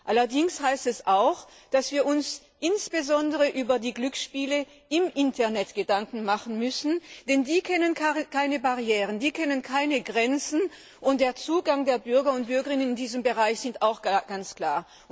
Allerdings bedeutet dies auch, dass wir uns insbesondere über die Glücksspiele im Internet Gedanken machen müssen, denn die kennen keine Barrieren, keine Grenzen, und der Zugang der Bürgerinnen und Bürger in diesem Bereich ist auch ganz klar.